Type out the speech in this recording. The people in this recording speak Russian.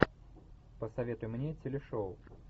посоветуй мне телешоу